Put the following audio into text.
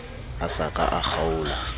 a sa ka a kgaola